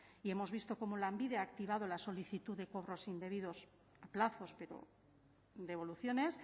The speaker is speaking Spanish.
y hemos visto cómo lanbide ha activado la solicitud de cobros indebidos a plazos pero devoluciones